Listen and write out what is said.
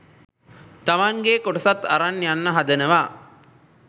තමන්ගෙ කොටසත් අරන් යන්න හදනව.